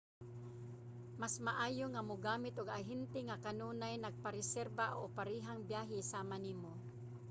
mas maayo nga mogamit og ahente nga kanunay nagapareserba og parehang biyahe sama nimo